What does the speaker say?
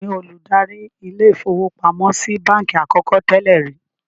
Taani olùdarí ilé-ìfowópamọ́sí i báńkì àkọ́kọ́ tẹ́lẹ̀ rìí?